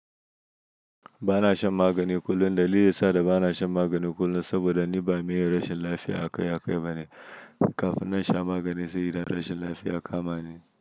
Ba na shan magani kullum, dalili yana sa da ba na shan magani kullum saboda ni ba miye rashin lafiya a kai ya kai ba ne, kafin na sha magani sai idan rashin lafiya ka ma ni.